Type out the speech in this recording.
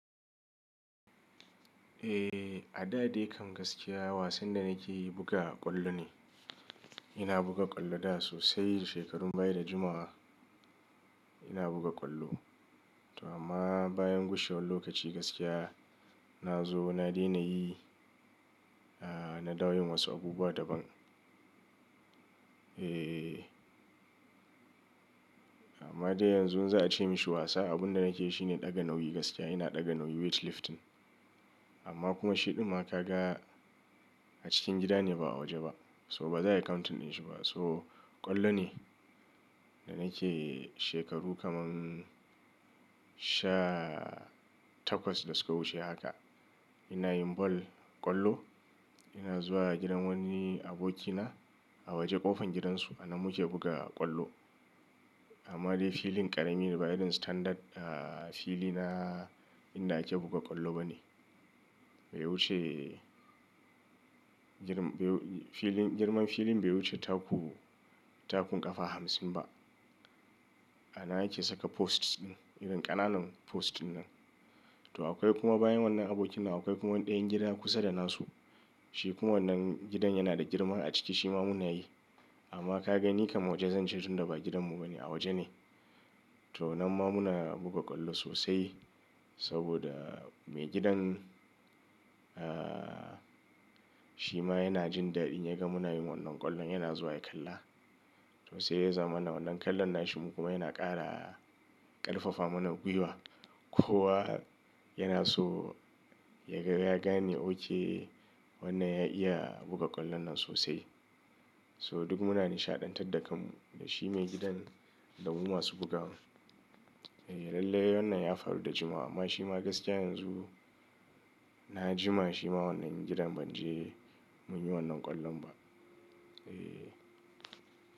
Eh, a da dai kam gaskiya wasan da nake yi buga ƙwallo ne. Ina buga ƙwallo da sosai shekarun baya da jimawa ina buga ƙwallo. To amma bayan gushewar lokaci gaskiya na zo na daina yi, ah na dawo yin wasu abubuwa daban. Eh, amma dai yanzu za a ce mishi wasa abin da nake yi shine ɗaga nauyi gaskiya. Ina ɗaga nauyi weight lifting. Amma kuma shi ɗin ma ka ga a cikin gida ne ba a waje ba. So ba za a yi counting ɗin shi ba. So ƙwallo ne da nake shekaru kaman sha takwas da suka wuce haka. Ina yin ball ƙwallo. Ina zuwa gidan wani abokina a waje ƙofar gidansu anan mu ke buga ƙwallo. Amma dai filin ƙarami ne ba irin standard ah fili na inda ake buga ƙwallo bane. Bai wuce jir ba yi filin girman filin bai wuce taku takun ƙafa hamsin ba. Anan ake saka post ɗin irin ƙananan post ɗin nan. To akwai kuma bayan wannan abokina akwai kuma ɗayan gida kusa da nasu. Shi kuma wannan gidan yana da girma a ciki shi ma muna yi. Amma ka gani kam waje zan je tun da ba gidanmu bane a waje ne. To nan ma muna buga ƙwallo sosai saboda maigidan ah shi ma yana jin daɗi in ya ga muna yin wannan ƙwallon yana zuwa ya kalla. To sai ya zama mana wannan kallon nashi mu kuma yana ƙara ƙarfafa mana gwiwa. Ko wa yana so ya ga ya gane okay wannan ya iya buga ƙwallon nan sosai. So duk muna nishaɗantar da kanmu da shi maigidan da mu masu bugawa. Eh, lallai wannan ya faru da jimawa amma shi ma gaskiya yanzu na jima shi ma wannan gidan ban je mun yi wannan ƙwallon ba. Eh.